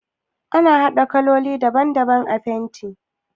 Ana haɗa kololi daban a fenti